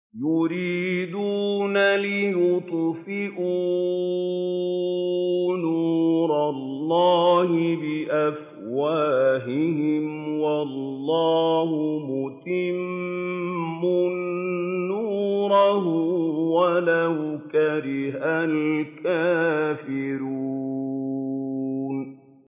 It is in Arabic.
يُرِيدُونَ لِيُطْفِئُوا نُورَ اللَّهِ بِأَفْوَاهِهِمْ وَاللَّهُ مُتِمُّ نُورِهِ وَلَوْ كَرِهَ الْكَافِرُونَ